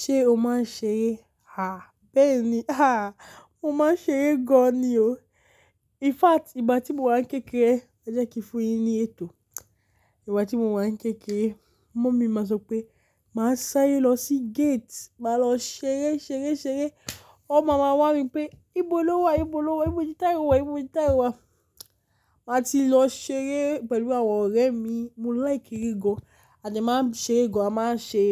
Ṣé o máa ń ṣeré? Ha! Bẹ́ẹ̀ ni. Ha! Mo máa ń ṣeré gan ni o. In fact, ìgbà tí mo wà ní kékeré, e jẹ́ kí n fún yín ní ètò. Ìgbà tí mo wà ní kékeré, mummy ma sọ pé, "Máa sáré lọ sí gate, máa lọ ṣeré, ṣeré, ṣeré." Ọ̀ máa maa wá mi pé, "Ibo lo wà? Ibo lo wà? Ibó ni tayo wà? Ibó ni tayo wà?" Màá ti lọ ṣeré pẹ̀lú àwọn ọ̀rẹ́ mi. Mo like eré gan. A dẹ̀ máa ń ṣeré gan. A máa ń ṣe,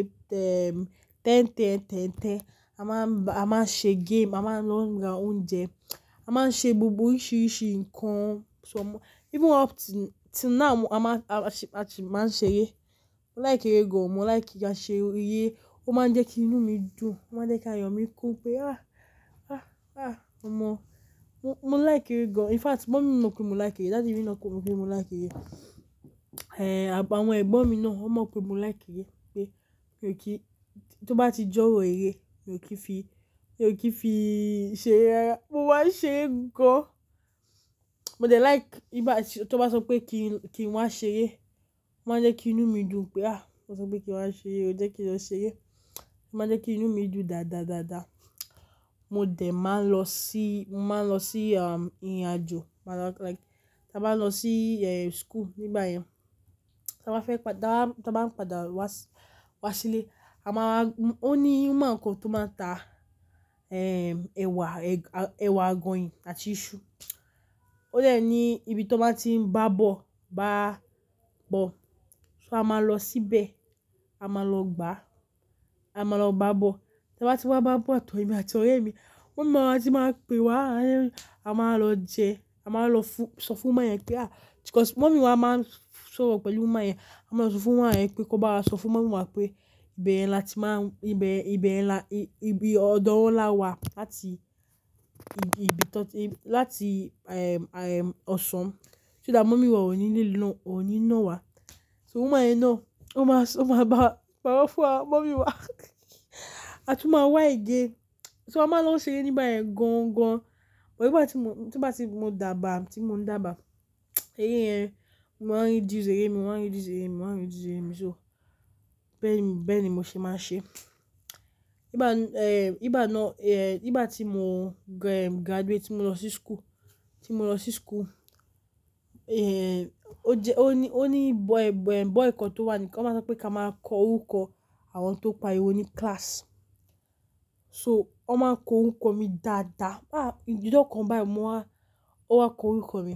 erm, tẹ́n-tẹ́n-tẹ́n-tẹ́n. A máa ń, a máa ń ṣe game, a máa ń lọ ra oúnjẹ, a máa ń ṣe gbogbo oríṣiríṣi nǹkan. So mo-- even up till now, a máa ń, a máa sì máa ń ṣeré. Mo like eré gan. Mo like kà ṣeré. Ó máa ń jẹ́ kí inú mi dùn. Ó máa ń jẹ́ kí ayọ̀ mi kún pé, ah, ah, ah, ọmọ. Mo, mo like eré gan. In fact, mummy mọ̀ pé mo like eré. Daddy mi mọ̀ pé mo like eré. Eh, àwọn ẹ̀gbọ́n mi náà ó mọ̀ pé mo like eré. Pé kí ó tó bá ti jọ̀rọ́ eré, mi ò kí n fi, mi ò kí n fi ṣeré rárá. Mo máa ń ṣeré gan. Mo jẹ like ìgbà tí, tó bá sọ pé kí n, kí n wá ṣeré, ó máa ń jẹ́ kí inú mi dùn pé, ah, wọ́n sọ pé kí n wá ṣeré, ó jẹ́ kí n lọ ṣeré. Ó máa ń jẹ́ kí inú mi dùn dáadáa, dáadáa. Mo dẹ̀ máa lọ sí, máa lọ sí, um, ìrìnàjò. Máa lọ like, tí a bá lọ sí, eh, school nígbà yẹn. Tí a bá fẹ́ padà, tí a bá ń padà wá, wá sílé, a máa, ó ní, wóman kan tó máa ń ta, erm, ẹ̀wà, ẹ̀wà àgọ̀yìn àti iṣu. Ó dẹ̀ ní ibi tó máa ti ń bá bọ, bá bọ. So a máa lọ síbẹ̀, a máa lọ gbà, a máa lọ bá bọ. Tí a bá ti wá bá bọ àtọ̀wẹ́ àti ọ̀rẹ́ mi, mummy máa ti máa ń pe wá, a máa lọ jẹ, a máa lọ fún, sọ fún ọmọ yẹn pé, ah, because mummy wá máa ń sọ̀rọ̀ pẹ̀lú ọmọ yẹn, a máa sọ fún ọmọ yẹn pé kó bá lọ sọ fún ọmọ mummy wá pé, "Ìbẹ̀ yẹn la ti máa ń, ìbẹ̀, ìbẹ̀ la, ibi ọ̀dọ̀ wa láti, ibi tó ti, láti, erm, erm, Ọ̀ṣọ́n." So that mummy wá ò ní ní lo, ò ní ná wa. So woman yẹn náà, ó máa sọ, ó máa bá, bá wá fún wa, mummy wá. A tún máa wá ìje. So a máa lọ ṣeré níbẹ̀ gan-an gan. Òbí ìgbà tí mo, tí mo bá ti dàbà, tí mo ń dàbà, eré yẹn, mo máa ń yí reduce eré mi, mo máa ń reduce eré mi, mo máa ń reduce eré mi so. Bẹ́ẹ̀ ni, bẹ́ẹ̀ ni mo ṣe máa ń ṣe. Ìgbà, erm, ìgbà náà, eh, ìgbà tí mo, erm, graduate, tí mo lọ sí school, tí mo lọ sí school, eh, ó jẹ, ó ní, ó ní boy, boy, boy kan tó wà ní, wọ́n máa sọ pé ká máa kọ orúkọ àwọn tó pariwo ní class. So, wọ́n máa ń kọ orúkọ mi dáadáa. Ah, ìjo ọ̀kan báyìí mọ́ wá, ó wá kọ orúkọ mi.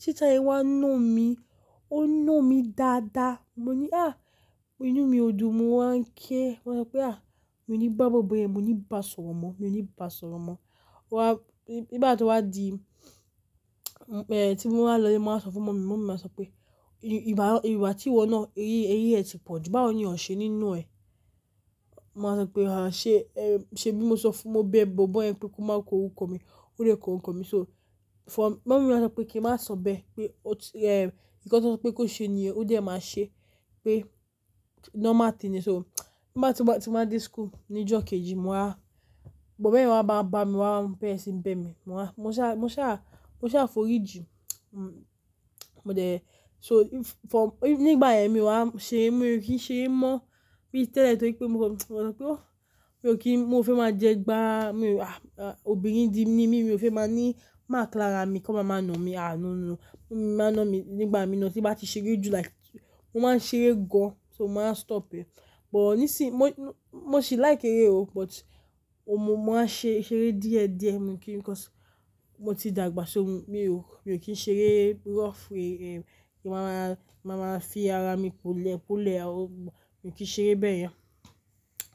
Teacher yẹn wá na mi, ó na mi dáadáa. Mo ní, ah, inú mi ò dùn, mo wá ń ké. Mo sọ pé, ah, mo ní bá boy bọ́ yẹn, mo ní bá sọ̀rọ̀ mọ́, mo ní bá sọ̀rọ̀ mọ́. Ó wá, ìgbà tí ó wá di, eh, tí mo wá lọlé, mo wá sọ fún mummy, mummy ma sọ pé, "Ìgbà, ìgbà tí ìwọ náà, eré, eré ẹ ti pọ̀jù, báwo ni ọ̀ṣẹ́ nína ẹ?" Mo máa sọ pé, "Ah, ṣe, erm, ṣe bí mo sọ fún, mo bẹ boy bọ́ yẹn pé kó máa kọ orúkọ mi, ó dè kọ orúkọ mi." So, for mummy ma sọ pé kí n má sọ bẹ́ẹ̀. Pé ó ti, erm, nìkan kí ó sọ pé kó ṣe ni o, ó dẹ̀ máa ṣe. Pé normal thing ni. So, ìgbà tí mo bá ti máa dé school ní ìjọ́ kejì, mo wá, boy bẹ́ẹ̀ wá bá, bá mi wá bẹ̀mì ń bẹ́ mi. Mo wá, mo ṣa, mo ṣa, mo ṣa forí jù. Mo jẹ, so if, for, nígbà yẹn mo wá ń ṣe, mo kìí ṣe mọ̀ bí tẹ́lẹ̀ torí pé mo kọ, mo sọ pé ó, mi ò kí n, mo ò fi máa jẹ gbá. Mi ò wá, obìnrin dim ni mí, mi ò fi máa ní márk lára mi kí wọ́n máa máa na mi, ah, no, no. Mo máa ń na mi nígbà mí náà tí bá ti ṣeré jù like, mo máa ń ṣeré gan. So mo máa stop ẹ. But ní sì, mo, mo sì like eré o, but ọmọ, mo máa ṣe, ṣeré díẹ̀díẹ̀. Mo kìí, because mo ti dàgbà so, mo, mi ò, mi ò kí ń ṣeré rough. Eh, kí n máa, máa máa fi ara mi polẹ̀polẹ̀. Mo kìí ṣe eré bẹ́ẹ̀ yẹn.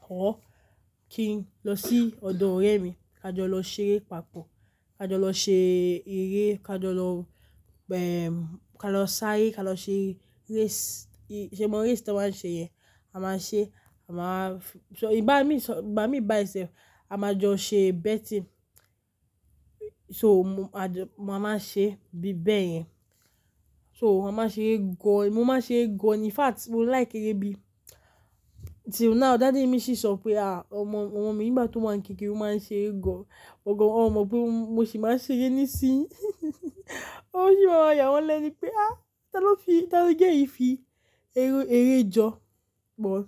Ó, kí n lọ sí ọ̀dọ̀ ọ̀rẹ́ mi, ká jọ lọ ṣeré papọ̀. Ká jọ lọ ṣe eré, ká jọ lọ, erm, ká lọ sáré, ká lọ ṣe race. Ṣé mo race tí wọ́n ṣe yẹn? A máa ṣe, a máa f-- so ìbá mi, ìbá mi by itself, a máa jọ ṣe betting. So mo, a jọ, mo máa máa ṣe bí bẹ́ẹ̀ yẹn. So mo máa ṣe ẹ́ gan. Mo máa ṣe ẹ́ gan. In fact, mo like eré bí. Till now, daddy mi sì sọ pé, "Ah, ọmọ, ọmọ mi, ìgbà tó máa ń kékeré, ó máa ń ṣe eré gan." Ògo, ó mọ pé mo sì máa ń ṣeré nísinsìnyí. Ó sì máa ń yà wọ́n lẹ́nu pé, "Ah, ta ló fi, ta ló jẹ́ èyí fi eré, eré jọ pọ̀n?"